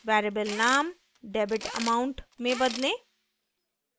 variable name debitamount में बदलें